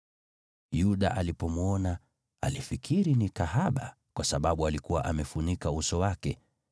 Yuda alipomwona alifikiri ni kahaba, kwa sababu alikuwa amefunika uso wake.